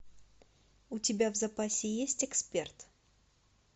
у тебя в запасе есть эксперт